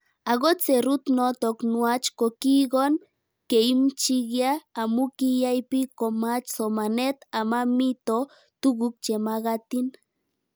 Akot serut notok nuach ko kikon keimchikia amu kiyai pik komach somanet ama mito tuguk che magatin